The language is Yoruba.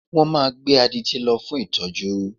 Wọ́n máa gbé adití lọ fún ìtọ́jú